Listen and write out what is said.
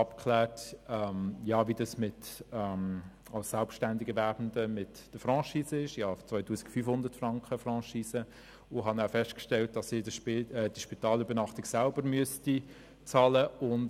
Danach klärte ich ab, wie es sich als Selbstständigerwerbender mit einer Franchise von 2500 Franken verhält und stellte fest, dass ich die Spitalübernachtung selber hätte bezahlen müssen.